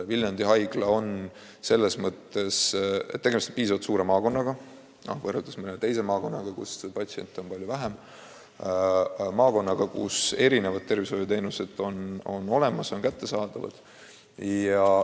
Viljandi puhul on tegemist piisavalt suure maakonnaga – mõnes teises maakonnas on patsiente palju vähem –, kus erinevad tervishoiuteenused on olemas ja kättesaadavad.